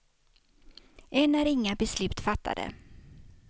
Än är inga beslut fattade.